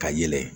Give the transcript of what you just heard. Ka yɛlɛ